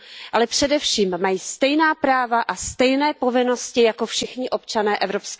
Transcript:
Ale především mají stejná práva a stejné povinnosti jako všichni občané EU.